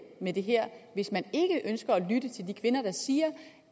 med det her hvis man ikke ønsker at lytte til de kvinder der siger